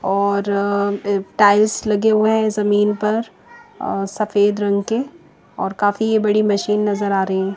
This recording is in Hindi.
और अ टाइल्स लगे हुए जमीन पर अ सफेद रंग के और काफी बड़ी मशीन नज़र आ रही है।